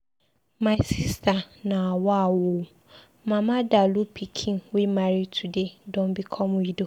My sister nawa ooo! Mama Dalụ pikin wey marry today don become widow.